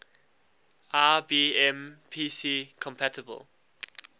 ibm pc compatible